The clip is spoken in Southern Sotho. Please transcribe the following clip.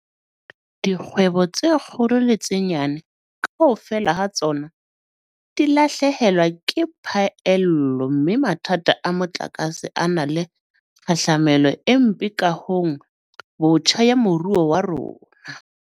Dikgwebo tse kgolo le tse nyane, kaofela ha tsona di lahlehelwa ke phaello mme mathata a motlakase a na le kgahlamelo e mpe kahong botjha ya moruo wa rona.